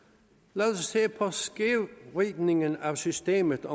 lad os se på skævvridningen af systemet